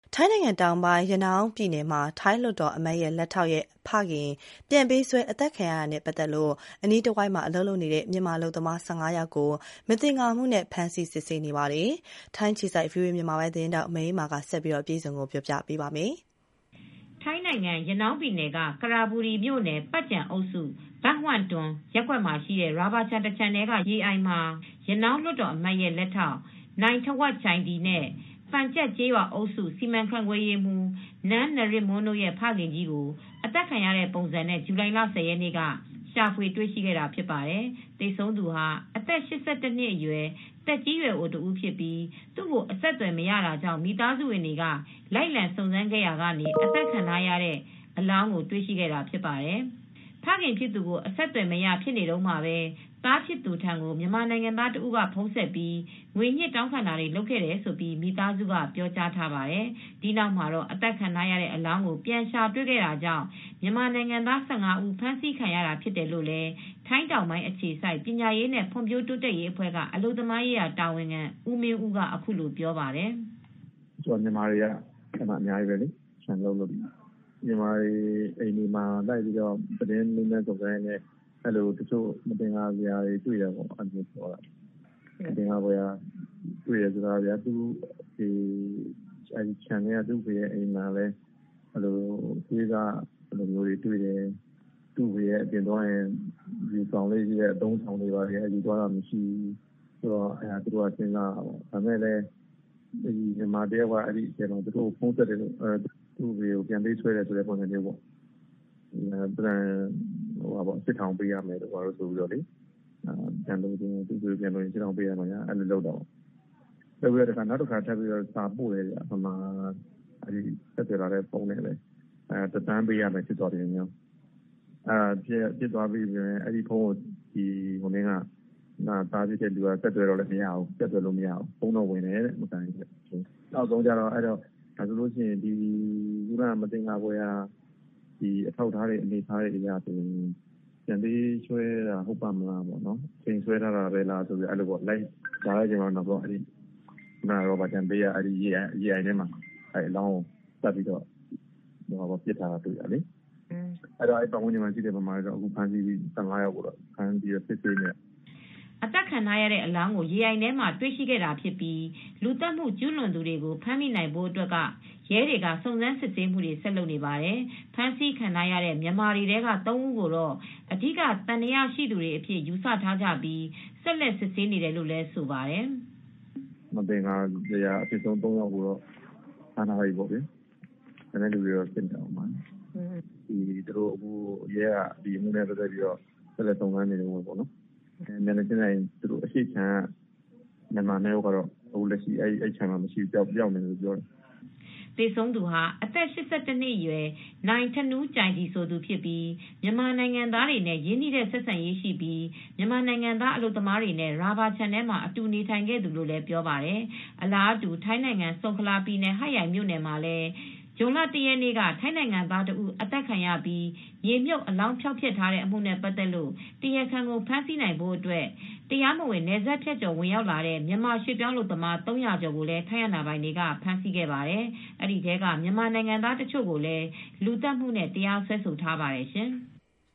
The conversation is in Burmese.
ထိုင်းနိုင်ငံတောင်ပိုင်း၊ ရနောင်းပြည်နယ်မှာ ထိုင်းလွှတ်တော်အမတ်ရဲ့ လက်ထောက်ရဲ့ဖခင်ပြန်ပေးဆွဲအသတ်ခံရတာနဲ့ပတ်သက်လို့ အနီးတဝိုက်မှာ အလုပ်လုပ်နေတဲ့ မြန်မာ ၁၅ ယောက်ကို မသင်္ကာမှုနဲ့ ဖမ်းဆီးစစ်ဆေးနေပါတယ်။ ထိုင်းအခြေစိုက် ဗီအိုအေသတင်းထောက် မအေးအေးမာက ဆက်ပြီး အပြည့်အစုံ တင်ပြပေးထားပါတယ်။ ထိုင်းနိုင်ငံ ရနောင်းပြည်နယ် ကရပူရီမြို့နယ်၊ ပတ်ကျန်အုပ်စု ဘန့်ဟတ်တွန်ရပ်ကွက်မှာရှိတဲ့ ရာဘာခြံတခြံထဲကရေအိုင်မှာ ရနောင်းလွှတ်တော်အမတ်ရဲ့လက်ထောက် နိုင်းထဝပ်ကျိုင်ဒီနဲ့ ပတ်ကျန်ကျေးရွာအုပ်စုစီမံခန့်ခွဲရေးမှူး နန်းနရစ်မွန်းတို့ရဲ့ ဖခင်ကြီးကို အသတ်ခံရတဲ့ပုံစံနဲ့ ဇူလိုင်လ ၁၀ ရက်နေ့က ရှာဖွေတွေ့ရှိခဲ့ပါတယ်။ သေဆုံးသူဟာ အသက် ၈၁ နှစ်အရွယ် သက်ကြီးရွယ်အိုတဦးဖြစ်ပြီး သူ့ကို အဆက်သွယ်မရတာကြောင့် မိသားစုဝင်တွေက လိုက်လံစုံစမ်းခဲ့ကြရာက အသတ်ခံထားရတဲ့ပုံ အလောင်းကို တွေ့ရှိခဲ့တာဖြစ်ပါတယ်။ ဖခင်ဖြစ်သူကို အဆက်အသွယ်မရဖြစ်နေတုန်းမှာပဲ သားဖြစ်သူထံကို မြန်မာနိုင်ငံသားတဦး ဖုန်းဆက်ပြီး ငွေညှစ်တောင်းခံတာတွေလုပ်ခဲ့တယ်လို့ မိသားစုက ပြောကြားထားပါတယ်။ ဒီနောက်မှာ တော့ အသတ်ခံထားရတဲ့ အလောင်းကိုပြန်ရှာတွေ့ခဲ့တာကြောင့် မြန်မာနိုင်ငံသား ၁၅ ဦး ဖမ်းဆီးခံရတာဖြစ်တယ်လို့ ထိုင်းတောင်ပိုင်းအခြေစိုက် ပညာရေးနဲ့ဖွံ့ဖြိုးတိုးတက်ရေးအဖွဲ က အလုပ်သမားရေးတာဝန်ခံ ဦးမင်းဦးက အခုလိုပြောပါတယ်။ “အဲဒီမှာက မြန်မာတွေကအများကြီးလေ။ မြန်မာတွေအိမ်တွေမှာ လိုက်ပြီးမေးမြန်းစုံစမ်းရင်းနဲ့ မသင်္ကာစရာတွေ တွေ့တယ်ပေါ့နော်။ မသင်္ကာစရာတွေ့တယ်ဆိုတာက သံသယဖြစ်နေတဲ့ ခြံထဲက သူ့အဖေရဲ့အိမ်မှာလည်း သွေးစတွေ တွေ့တာမျိုး၊ သူ့အဖေက အပြင်သွားရင် ယူဆောင်သွားတဲ့အသုံးအဆောင်တွေကိုလည်း ယူဆောင်သွားတာမရှိဘူး။ နောက် မြန်မာတယောက်က သူ့ကို ဖုန်းဆက်တယ်။ သူ့အဖေကို ပြန်ပေးဆွဲတယ်ဆိုတဲ့ပုံစံနဲ့ ၈ ထောင်ပေးရမယ်ဆိုတာမျိုး၊ နောက်တခါ မြန်မာပြည်သားက အဲဒီဖုန်းနဲ့ပဲ စာထပ်ပို့တယ်။ ဘတ် တသန်းပေးရမယ်ဆိုတာမျိုးတွေ ရေးထားတယ်။ အဲဒီဖုန်းကို သားဖြစ်သူက ဆက်သွယ်တော့လည်း ဆက်သွယ်လို့မရဘူး။ ဖုန်းတော့ ဝင်တယ်တဲ့။ ခုနက မသင်္ကာဖွယ်ရာအထောက်အထားတွေအရ ပြန်ပေးဆွဲတာဟုတ်ရဲ့လားပေါ့။ အချိန်ဆွဲသလားဆိုပြီး လိုက်ရှာတော့ ရာဘာခြံဘေးက ရေအိုင်ထဲမှာအလောင်းကို ပစ်ထားတာတွေ့ ရတယ်။ အဲဒါကြောင့် အနီးအနား ပတ်ဝန်းကျင်က မြန်မာ ၁၅ ယောက်လောက်ကို ဖမ်းဆီးစစ်ဆေးနေတယ်။” အသတ်ခံထားရတဲ့အလောင်းကိုရေအိုင်ထဲမှာ တွေ့ရှိခဲ့တာဖြစ်ပြီး လူသတ်မှုကျူးလွန်သူတွေကို ဖမ်းမိနိုင်ဖို့အတွက်ကတော့ ရဲတွေက ဆက်ပြီး စုံစမ်းစစ်ဆေးနေပါတယ်။ ဖမ်းဆီးခံထားရတဲ့မြန်မာတွေထဲက ၃ ဦးကိုတော့ အဓိကသံသယရှိသူတွေအဖြစ် ယူဆထားကြပြီး ဆက်လက်စစ်ဆေးနေတယ်လို့ဆိုပါတယ်။ “မသင်္ကာစရာအဖြစ်ဆုံး ၃ ယောက်ကိုတော့ ဖမ်းထားတယ်။ ကျန်တဲ့သူတွေကိုလည်း ဆက်စစ်နေပါတယ်။ အဲဒီခြံရဲ့ မျက်နှာချင်းဆုင်အရှေ့မှာရှိတဲ့ခြံက မြန်မာ၂ ယောက်ကလည်း ပျောက်နေတယ်ပြောတယ်။” သေဆုံးသူဟာ အသက် ၈၁ နှစ်အရွယ် နိုင်းထနူးကျိုင်ဒီ ဆိုသူဖြစ်ပြီး မြန်မာနိုင်ငံသားတွေနဲ့ရင်းနှီးတဲ့ဆက်ဆံရေးရှိပြီး မြန်မာနိုင်ငံသားအလုပ်သမားတွေနဲ့ ရာဘာခြံထဲမှာ အတူနေထိုင်နေတဲ့သူလို့လည်း ပြောပါတယ်။ အလားတူ ထိုင်းနိုင်ငံ ဆုန်ခလာပြည်နယ် ဟတ်ယိုင်မြို့နယ်မှာ ဇွန်လ ၁ ရက်က ထိုင်းနိုင်ငံသား ၁ ဦးသတ်ပြီး မြေမြှုပ်အလောင်းဖျောက်တဲ့အမှုနဲ့ပတ်သက်လို့ တရားခံကိုဖမ်းဆီးနိုင်ဖို့အတွက် တရားမဝင်နယ်စပ်ဖြတ်ကျော် ဝင်ရောက်လာတဲ့ မြန်မာရွှေ့ပြောင်းအလုပ်သမား ၃၀၀ ကျော်ကို ထိုင်းအာဏာပိုင်တွေကဖမ်ဆီးခဲ့ပါတယ်။ ဒီထဲက မြန်မာနိုင်ငံသားတချို့ကိုလည်း လူသတ်မှုနဲ့ တရားစွဲထားပါတယ်ရှင်။